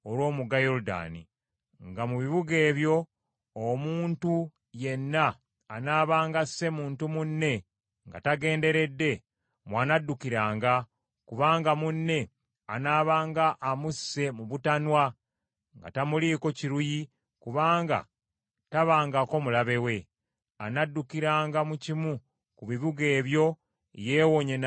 nga mu bibuga ebyo, omuntu yenna anaabanga asse muntu munne nga tagenderedde, mw’anaddukiranga, kubanga munne anaabanga amusse mu butanwa nga tamuliiko kiruyi kubanga tabangako mulabe we; anaddukiranga mu kimu ku bibuga ebyo yeewonye naye okuttibwa.